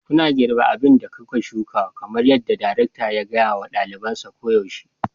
Kuna girbi abin da kuka shuka kamar yadda darekta ya gaya wa ɗalibansa koyaushe.